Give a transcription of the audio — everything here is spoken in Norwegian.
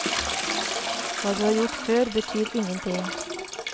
Hva du har gjort før, betyr ingenting.